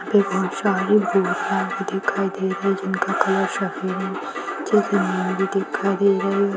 यहाँ पे बहुत सारे दिखाई दे रही हैं जिनका कलर सफेद है जो की दिखाई दे रही है |